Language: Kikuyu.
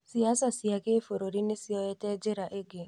siasa cia gĩbũrũri nĩ ciote njĩra ĩngĩ